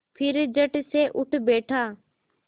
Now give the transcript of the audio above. फिर झटसे उठ बैठा